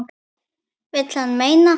Vill hann meina.